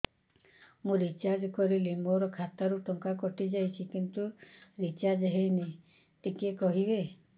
ମୁ ରିଚାର୍ଜ କରିଲି ମୋର ଖାତା ରୁ ଟଙ୍କା କଟି ଯାଇଛି କିନ୍ତୁ ରିଚାର୍ଜ ହେଇନି ଟିକେ କହିବେ